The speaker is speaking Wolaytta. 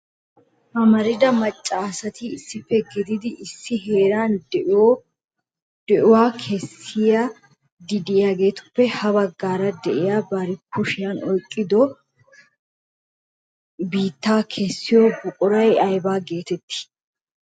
amarida macca asati issippe gididi issi heeran di'uwaa kessidi de'iyaatuppe ha baggan de'iyaa bari kushiyaa oyqqada biitta kaashiyo buquray aybba getetti?